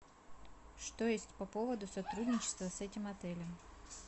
что есть по поводу сотрудничества с этим отелем